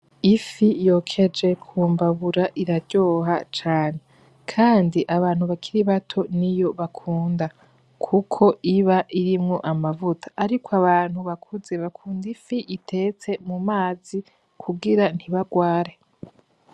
Ifi yokeje kumbabura iraryoha cane, kandi abantu bakiri bato niyo bakunda kuko iba irimwo amavuta. Ariko abantu bakuze bakunda ifi itetse mumazi kugira ntibagware.